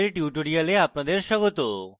meet the gimp এর tutorial আপনাদের স্বাগত